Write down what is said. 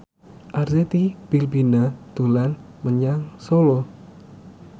Arzetti Bilbina dolan menyang Solo